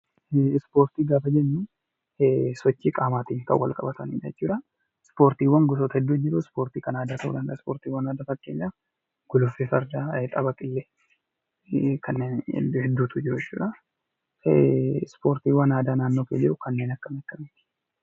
Ispoortii gaafa jennuu sochii qaamaatiin kan walqabatanidha jechuudha. Ispoortiiwwan gosa hedduu jiru; akka fakkeenyaatti ispoortii aadaa keessaa guluffee fardaa, tapha qillee fi kanneen biroo hedduutu jiru. Ispoortiiwwan aadaa naannoo kee jiru kanneen akkamiiti?